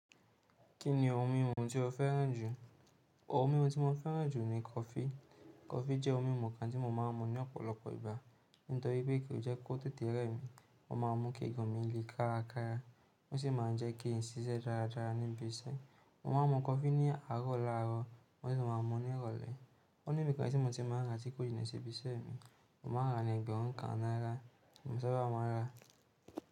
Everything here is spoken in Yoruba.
Kí ni ohun mímu tí o féràn jù? Ohun mímu tí mo féràn jù ni kofí. Coffee jẹ́ ohun mímu kan tí mo máa ń mu ní ọ̀pọ̀lọpọ̀ ìgbà. Nítorí pé kì í jẹ́ kó tẹ́tẹ̀ rè mi. Ó má a mú k'eegun mi le kárakára. Ó sì máa ń jẹ́ kí n ṣisẹ́ dáradára níbi iṣẹ́. Mo máa n mu coffee ní àárò láàárò, mo dè máa n mú ní îròlé. Ó níbi kan tí mo ti mọ̀ rántí kódà ní ibi iṣẹ́ mi. Mo máa ń ra ní ẹgbẹ̀rún kan náírà. Mọ̀ sàba máa ń rà.